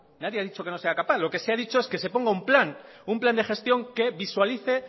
nadie ha dicho que no sea capaz lo que se ha dicho es que se ponga un plan un plan de gestión que visualice